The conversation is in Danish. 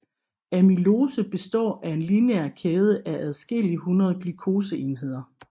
Amylose består af en lineær kæde af adskillige hundrede glukoseenheder